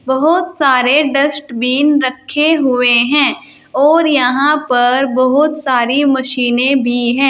बहोत सारे डस्टबिन रखे हुए हैं और यहां पर बहोत सारी मशीने भी हैं।